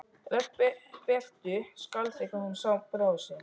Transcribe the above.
Rödd Berthu skalf þegar hún sá bróður sinn.